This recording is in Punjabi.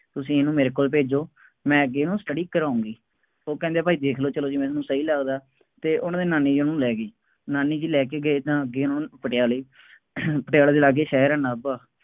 ਤੁਸੀਂ ਇਹਨੂੰ ਮੇਰੇ ਕੋਲ ਭੇਜੋ, ਮੈਂ ਅੱਗੇ ਇਹਨੂੰ study ਕਰਾਊਂਗੀ, ਉਹ ਕਹਿੰਦੇ ਭਾਈ ਦੇਖ ਲਉ ਚੱਲੋ ਜਿਵੇਂ ਤੁਹਾਨੂੰ ਸਹੀ ਲੱਗਦਾ ਅਤੇ ਉਹਨਾ ਦੀ ਨਾਨੀ ਉਹਨੂੰ ਲੈ ਗਈ। ਨਾਨੀ ਜੀ ਲੈ ਕੇ ਗਏ ਤਾਂ ਅੱਗੇ ਉਹਨਾ ਨੂੰ ਪਟਿਆਲੇ ਪਟਿਆਲੇ ਦੇ ਲਾਗੇ ਸ਼ਹਿਰ ਹੈ ਨਾਭਾ,